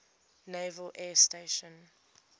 naval air station